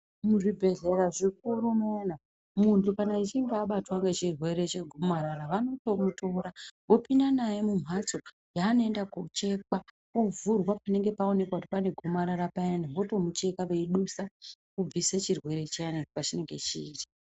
Muzvibhehlera zvikuru zviyani muntu kana echinge abatwa ngechirwere chengomarara vanoto mutora vopinda naye mumhatso yaanoenda kochekwa ovhurwa panenge pawonekwa kuti panegomarara payani votomucheka veidusa chirwere chiyani pachinenge chiri.